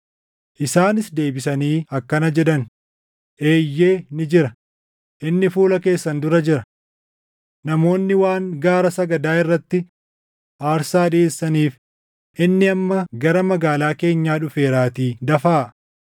Isaanis deebisanii akkana jedhan; “Eeyyee ni jira; inni fuula keessan dura jira. Namoonni waan gaara sagadaa irratti aarsaa dhiʼeessaniif inni amma gara magaalaa keenyaa dhufeeraatii dafaa.